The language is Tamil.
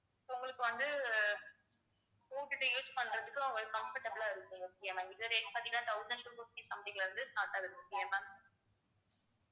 so உங்களுக்கு வந்து போட்டுட்டு use பண்றதுக்கு உங்களுக்கு comfortable ஆ இருக்கும் okay ma'am இது rate பாத்தீங்கன்னா thousand two fifty something ல வந்து start ஆகுது okay வா ma'am